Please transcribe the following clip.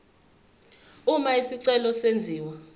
uma isicelo senziwa